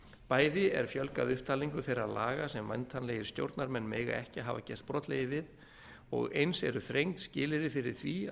bæði er fjölgað upptalningu þeirra laga sem væntanlegir stjórnarmenn mega ekki hafa gerst brotlegir við og eins eru þrengd skilyrði fyrir því